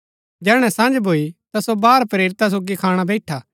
जैहणै सँझ भूई ता सो बारह प्रेरिता सोगी खाणा बैईठा